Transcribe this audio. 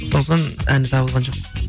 сосын әні табылған жоқ